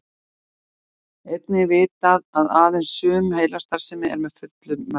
einnig er vitað að aðeins sum heilastarfsemi er að fullu meðvituð